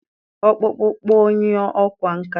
Ọkpụkpụ kpụọ onye ọkwá nkà.